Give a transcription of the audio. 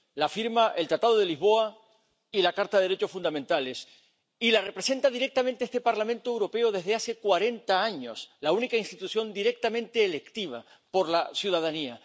Lo afirman el Tratado de Lisboa y la Carta de los Derechos Fundamentales y la representa directamente este Parlamento Europeo desde hace cuarenta años ―la única institución directamente elegida por la ciudadanía.